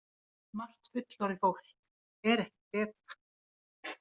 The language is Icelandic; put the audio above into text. Margt fullorðið fólk er ekkert betra.